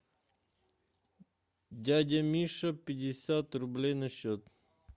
дядя миша пятьдесят рублей на счет